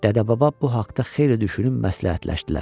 Dədə-baba bu haqda xeyli düşünüb məsləhətləşdilər.